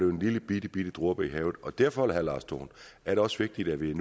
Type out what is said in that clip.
en lille bitte dråbe i havet og derfor herre lars dohn er det også vigtigt at det